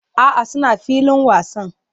A'a, suna filin wasan